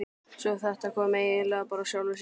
Svo þetta kom eiginlega bara af sjálfu sér.